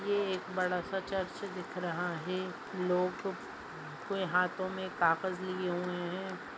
ये एक बड़ा सा चर्च दिख रहा हैं। लोग के हातो में कागज लिए हुए है।